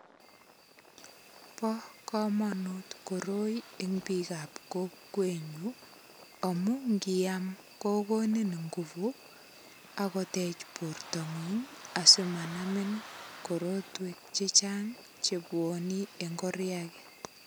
Bo komonut koroi en bik ab kokwenyun amun ikiam kokoni inguvu ak kotech bortongung asimanamin korotwek che chang che bwone en koria.